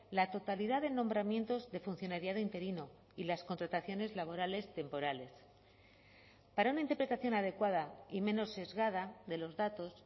la totalidad de nombramientos de funcionariado interino y las contrataciones laborales temporales para una interpretación adecuada y menos sesgada de los datos